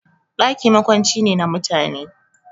Ɗaki makwanci ne na mutane